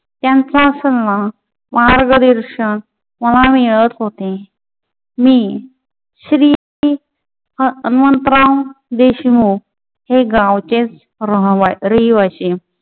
त्यांचा सल्ला मार्गदर्शन मला मिळत होते. मी श्री हनुमंतराव देशमुख हे गावचेच रहिवासी